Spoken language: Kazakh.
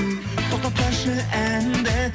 тоқтатпашы әнді